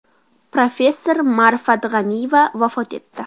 Professor Ma’rifat G‘aniyeva vafot etdi.